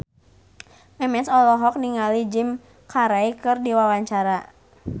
Memes olohok ningali Jim Carey keur diwawancara